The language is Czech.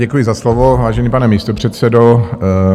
Děkuji za slovo, vážený pane místopředsedo.